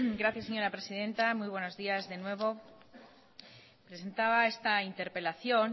gracias señora presidenta muy buenos días de nuevo presentaba esta interpelación